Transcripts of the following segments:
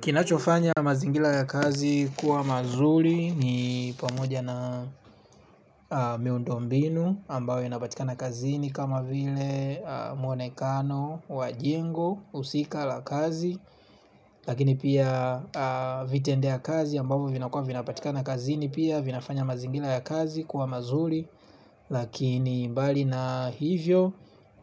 Kinachofanya mazingira ya kazi kuwa mazuri ni pamoja na miundombinu ambayo yanapatika na kazini kama vile mwonekano wa jengo usika la kazi. Lakini pia vitendea kazi ambayo vinapatika na kazini pia vinafanya mazingira ya kazi kuwa mazuri. Lakini mbali na hivyo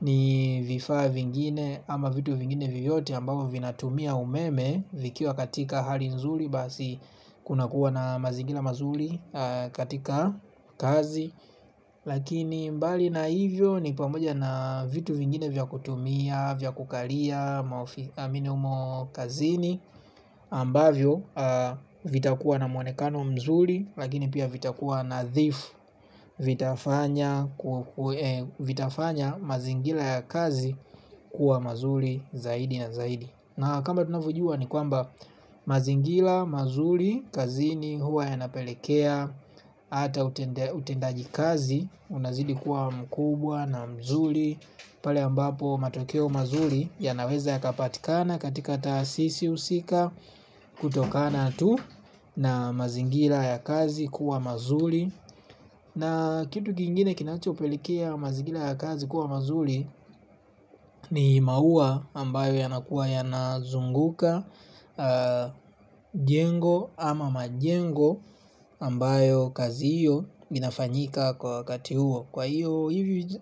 ni vifaa vingine ama vitu vingine vyote ambavo vinatumia umeme vikiwa katika hali nzuri basi kunakuwa na mazingira mazuri katika kazi. Lakini mbali na hivyo ni pamoja na vitu vingine vya kutumia vya kukalia maofi minumo kazini ambavyo vitakua na mwonekano mzuri. Lakini pia vitakua nadhifu vitafanya mazingira ya kazi kuwa mazuri zaidi na zaidi. Na kama tunavojua ni kwamba mazingira, mazuri, kazini huwa yanapelekea ata utendaji kazi unazidi kuwa mkubwa na mzuri. Pale ambapo matokeo mazuri yanaweza yakapatikana katika taasisi usika kutokana tu na mazingira ya kazi kuwa mazuri. Na kitu kingine kinachopelekea mazingira ya kazi kuwa mazuri. Ni maua ambayo yanakuwa yanazunguka jengo ama majengo ambayo kazi hiyo inafanyika kwa wakati huo. Kwa hiyo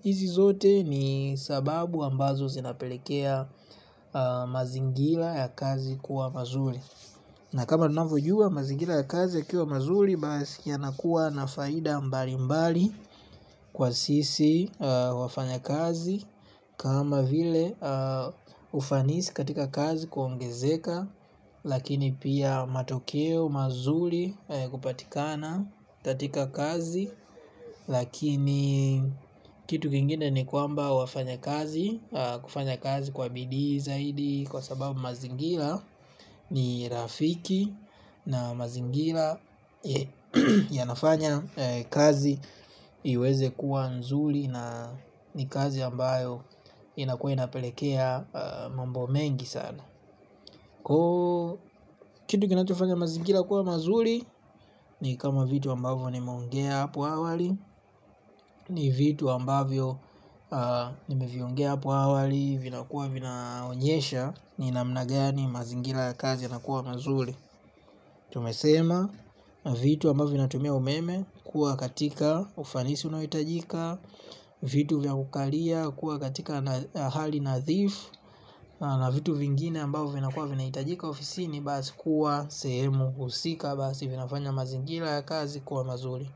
hizi zote ni sababu ambazo zinapelekea mazingiea ya kazi kuwa mazuri. Na kama tunavojua mazingira kazi yakiwa mazuri basi yanakuwa na faida mbali mbali kwa sisi wafanyakazi. Kama vile ufanisi katika kazi kuongezeka lakini pia matokeo mazuri kupatikana katika kazi. Lakini kitu kingine ni kwamba wafanyakazi kufanya kazi kwa bidii zaidi kwa sababu mazingira ni rafiki. Na mazingira yanafanya kazi iweze kuwa nzuri. Na ni kazi ambayo inakuwa inapelekea mambo mengi sana. Kitu kinachofanya mazingira kuwa mazuri. Ni kama vitu ambavyo nimeongea apo awali. Ni vitu ambavyo nimeviongia apo awali. Vinakuwa vinaonyesha ni namna gani mazingira kazi yanakuwa mazuri. Tumesema na vitu ambao vinatumia umeme kuwa katika ufanisi unaohitajika. Vitu vya ukaria kuwa katika hali nadhifu. Na vitu vingine ambao vinakua vinahitajika ofisi ni basi kuwa sehemu husika basi vinafanya mazingira ya kazi kuwa mazuri.